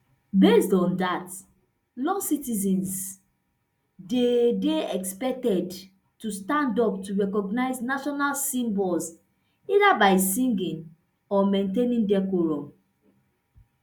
based on dat law citizens dey dey expected to stand up to recognise national symbols either by singing or maintaining decorum